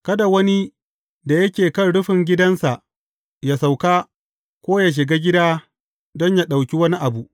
Kada wani da yake kan rufin gidansa yă sauka, ko yă shiga gida don yă ɗauki wani abu.